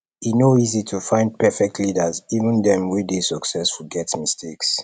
e no easy to find perfect leaders even dem wey dey successful get mistakes